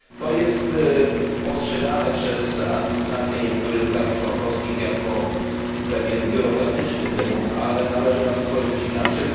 Jest to postrzegane przez administrację niektórych państw członkowskich jako pewien biurokratyczny wymóg, ale należy spojrzeć na to inaczej.